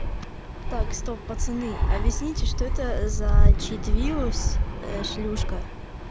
так стоп пацаны объясните что это за читвирус шлюшка